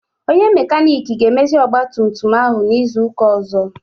Onye makanik ga-emezi ọgbatumtum ahụ n'izu ụka ọzọ.